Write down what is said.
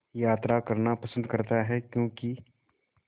यात्रा करना पसंद करता है क्यों कि